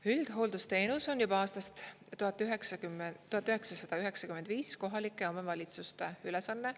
Üldhooldusteenus on juba aastast 1995 kohalike omavalitsuste ülesanne.